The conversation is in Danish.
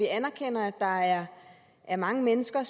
anerkender at der er er mange mennesker